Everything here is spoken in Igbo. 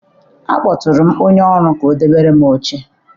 akpọtụrụ m onye ọrụ ka ọ debere m oche.